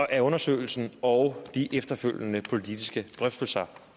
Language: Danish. af undersøgelsen og de efterfølgende politiske drøftelser